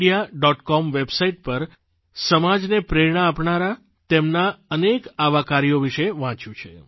com website પર સમાજને પ્રેરણા આપનારા તેમનાં અનેક આવાં કાર્યો વિશે વાંચ્યું છે